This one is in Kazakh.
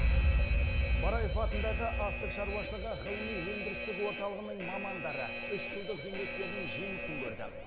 бараев атындағы астық шаруашылығы ғылыми өндірістік орталығының мамандары үш жылдық еңбектерінің жемісін көрді